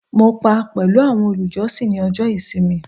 mo pa pẹlu awọn olùjọsìn ni ọjọ ìsinmi